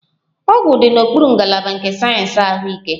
Ọgwụ dị n'okpuru ngalaba nke sayensị ahụike